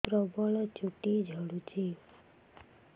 ପ୍ରବଳ ଚୁଟି ଝଡୁଛି